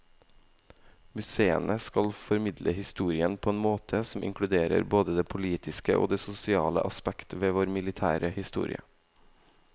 Museene skal formidle historien på en måte som inkluderer både det politiske og det sosiale aspekt ved vår militære historie.